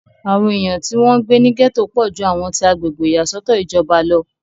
àwọn èèyàn tí wọ́n ń gbé ní gẹ̀tò pọ̀ ju àwọn ti agbègbè ìyàsọ́tọ̀ ìjọba lọ